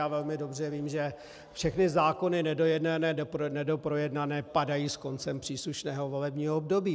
Já velmi dobře vím, že všechny zákony nedojednané, nedoprojednané padají s koncem příslušného volebního období.